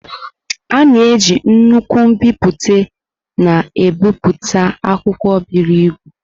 A na-eji nnukwu mbipute na-ebipụta akwụkwọ buru ibu.